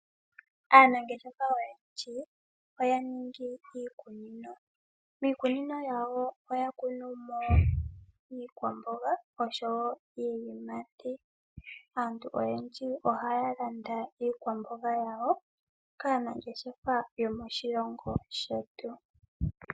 Aanangeshefa oyendji oya ninga iikunino, miikunino yawo oya kuna mo iiyimati. Aantu oyendji ohaya landa iikwamboga yawo kaanangeshefa yomoshilongo shetu.